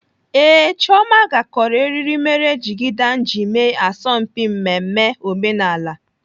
Ee, Chioma gakọrọ eriri mere jigida m ji eme asọmpi mmemme omenala.